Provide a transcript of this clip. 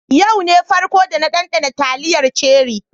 Yau ne farko da na danɗana taliyar ceri.